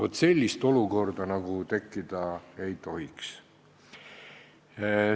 Vaat sellist olukorda nagu tekkida ei tohiks.